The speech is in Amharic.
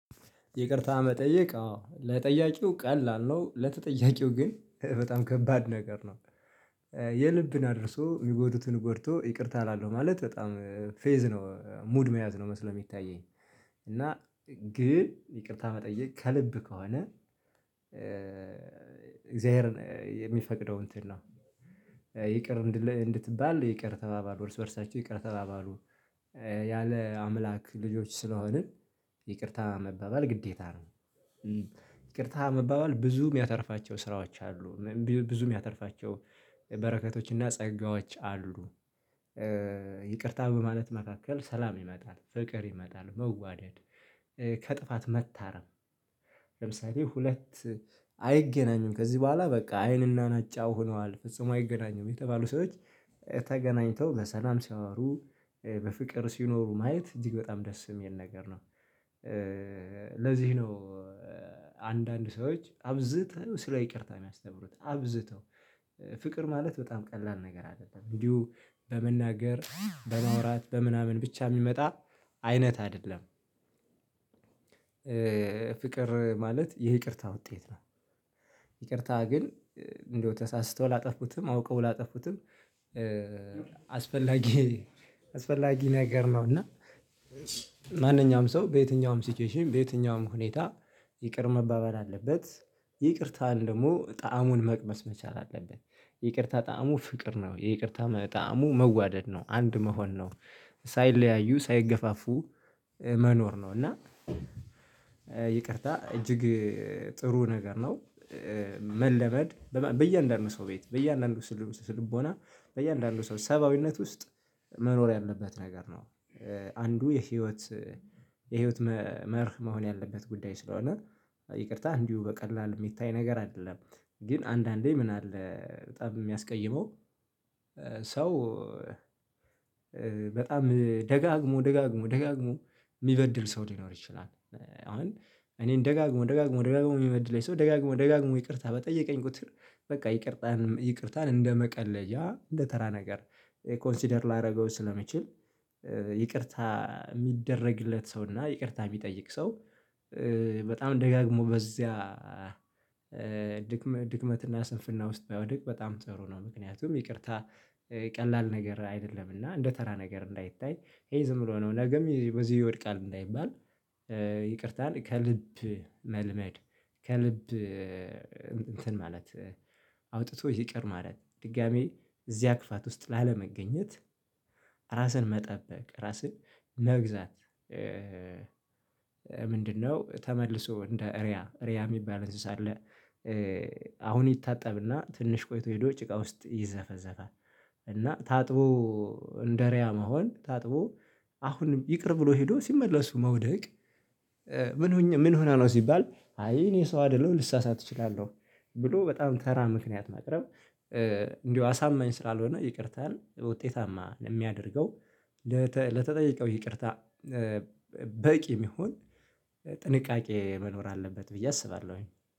ይቅርታ መጠየቅ አዎ ለጠያቂው ቀላል ነው ለተጠያቂው ግን በጣም ከባድ ነገር ነው። የልብን አድርሶ የሚጎዱትን ጎድቶ ይቅርታ እላለው ማለት በጣም ፌዝ ነው ሙድ መያዝ ነው መስሎ የሚታየኝ። እና ግን ይቅርታ መጠየቅ ከልብ ከሆነ እግዚአብሔርን የሚፈቅደው እንትን ነው። ይቅር እንድትባል ይቅር ተባባሉ እርስ በእርሳቸው ይቅር ተባባሉ ያለ አምላክ ልጆች ስለሆንን። ይቅርታ መባባል ግዴታ ነው። ይቅርታ መባባል ብዙ የሚያተርፋቸው ስራዎች አሉ። ብዙ የሚያተርፋቸው ጸጋዎች አሉ። ይቅርታ በማለት መካከል ሰላም ይመጣል ፍቅር ይመጣል መዋደድ ከጥፋት መታረም። ለምሳሌ ሁለት አይገናኙም ከዚህ በኋላ በቃ አይንና ናጫ ሆነዋል ፍጹም አይገናኙም የተባሉ ሰዎች ተገናኝተው በሰላም ሲያወሩ በፍቅር ሲኖሩ ማየት እጅግ በጣም ደስ የሚል ነገር ነው። ለዚህ ነው። አንዳንድ ሰዎች አብዝተው ስራ ይቅርታ የሚያስተምሩት አብዝተው ፍቅር ማለት በጣም ቀላል ነገር አይደለም እንዲሁ በመናገር በማውራት በምናምን ብቻ የሚመጣ አይነት አይደለም። ፍቅር ማለት የይቅርታ ውጤት ነው። ይቅርታ ግን እንደው ተሳስቶ ላጠፉትም አውቀው ላጠፉትም አስፈላጊ አስፈላጊ ነገር ነው። እና ማንኛውም ሰው በየትኛውም ሲቹዌሽን በየትኛውም ሁኔታ ይቅር መባበል አለበት። ይቅርታን ደግሞ ጣዕሙን መቅመስ መቻል አለበት። ይቅርታ ጣዕሙ ፍቅር ነው የይቅርታ ጣዕሙ መዋደድ ነው አንድ መሆን ነው። ሳይለያዩ ሳይገፋፉ መኖር ነው። እና ይቅርታ እጅግ ጥሩ ነገር ነው። መለመድ በየአንዳንዱ ሰው ቤት በየአንዳንዱ ስልቦና በየአንዳንዱ ሰው ሰብአዊነት ውስጥ መኖር ያለበት ነገር ነው። አንዱ የህይወት የህይወት መርህ መሆን ያለበት ጉዳይ ስለሆነ። ይቅርታ እንዲሁ በቀላሉ የሚታይ ነገር አይደለም። ግን አንዳንዴ ምን አለ በጣም የሚያስቀይመው? ሰው በጣም ደጋግሞ ደጋግሞ ደጋግሞ የሚበድል ሰው ሊኖር ይችላል። አሁን እኔን ደጋግሞ ደጋግሞ ደጋግሞ የሚበድል ሰው ደጋግሞ ደጋግሞ ይቅርታ በጠየቀኝ ቁጥር በቃ ይቅርታን ይቅርታን እንደመቀለ ያ እንደተራ ነገር ኮንሲደር ላደርገው ስለሚችል። ይቅርታ የሚደረግለት ሰው እና ይቅርታ የሚጠይቅ ሰው። በጣም ደጋግሞ በዚያ ድክመት እና ስንፍና ውስጥ ባይወድቅ በጣም ጥሩ ነው። ምክንያቱም ይቅርታ ቀላል ነገር አይደለም። እና እንደ ተራ ነገር እንዳይታይ ይሄ ዝም ብሎ ነው ነገም በዚህ ይወድቃል እንዳይባል። ይቅርታን ከልብ መልመድ ከልብ እንትን ማለት አውጥቶ ይቅር ማለት ድጋሚ እዚያ ክፋት ውስጥ ላለመገኘት። ራስን መጠበቅ ራስን መግዛት። ምንድነው? ተመልሶ እንደ ሪያ ሪያ የሚባል እንስሳ አለ። አሁን ይታጠብና ትንሽ ቆይቶ ሄዶ ጭቃ ውስጥ ይዘፈዘፋል። እና ታጥቦ እንደሪያ መሆን ታጥቦ አሁን ይቅር ብሎ ሄዶ ሲመለሱ መውደቅ። ምን ሆነ ምን ሆነ ነው? ሲባል አይ እኔ ሰው አይደለሁም ልሳሳት እችላለሁ። ብሎ በጣም ተራ ምክንያት ማቅረብ። እንዲሁ አሳመኝ ስላልሆነ ይቅርታን ውጤታማ የምያደርገው። ለተጠየቀው ይቅርታ በቂ የሚሆን ጥንቃቄ መኖር አለበት ብዬ አስባለሁኝ